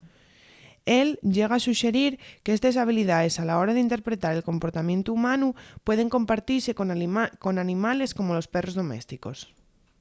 él llega a suxerir qu’estes habilidaes a la hora d’interpretar el comportamientu humanu pueden compartise con animales como los perros domésticos